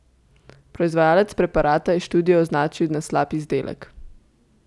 Proizvajalec preparata je študijo označil na slab izdelek.